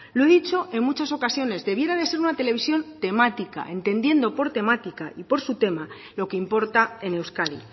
lo he dicho en muchas ocasiones debiera de ser una televisión temática entendiendo por temática y por su tema lo que importa en euskadi